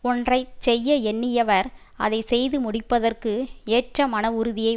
ஒன்றை செய்ய எண்ணியவர் அதை செய்து முடிப்பதற்கு ஏற்ற மனஉறுதியை